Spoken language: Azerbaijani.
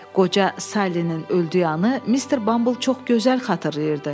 Qoca Salinin öldüyünü o Mister Bumble çox gözəl xatırlayırdı.